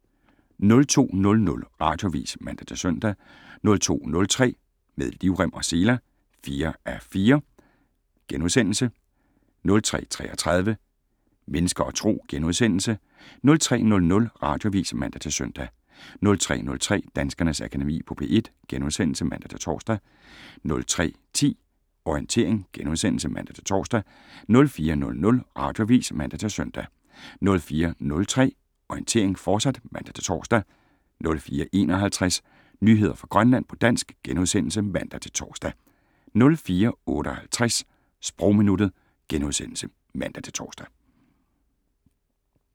02:00: Radioavis (man-søn) 02:03: Med livrem og seler (4:4)* 02:33: Mennesker og Tro * 03:00: Radioavis (man-søn) 03:03: Danskernes Akademi på P1 *(man-tor) 03:10: Orientering *(man-tor) 04:00: Radioavis (man-søn) 04:03: Orientering, fortsat (man-tor) 04:51: Nyheder fra Grønland på dansk *(man-tor) 04:58: Sprogminuttet *(man-tor)